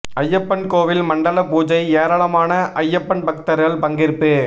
ஐயப்பன் கோவில் மண்டல பூஜை ஏராளமான ஐயப்பன் பக்தர்கள் பங்கேற்பு